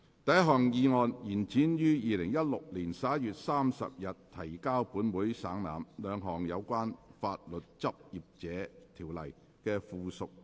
第一項議案：延展於2016年11月30日提交本會省覽，兩項有關《法律執業者條例》的附屬法例的修訂期限。